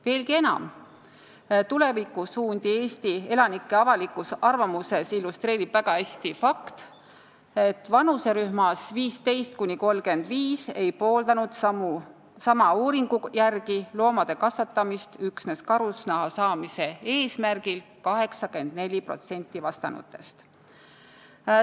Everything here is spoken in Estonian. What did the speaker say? Veelgi enam, tulevikusuundi Eesti elanike avalikus arvamuses illustreerib väga hästi fakt, et vanuserühmas 15–35 ei pooldanud loomade kasvatamist üksnes karusnaha saamise eesmärgil 84% vastanutest.